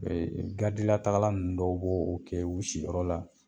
garidi latagala nunnu dɔw b'o o kɛ u siyɔrɔ la.